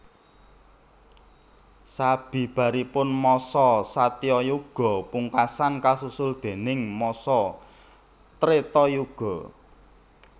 Sabibaripun masa Satyayuga pungkasan kasusul déning masa Tretayuga